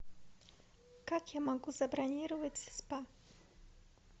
как я могу забронировать спа